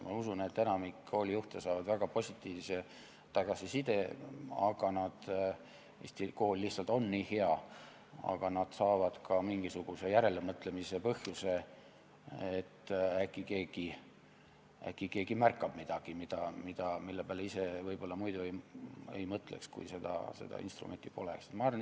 Ma usun, et enamik koolijuhte saab väga positiivse tagasiside, sest tihti kool lihtsalt on nii hea, aga nad saavad ka mingisuguse järelemõtlemise põhjuse, sest äkki keegi märkab midagi, mille peale ise võib-olla muidu ei mõtleks, kui seda instrumenti poleks.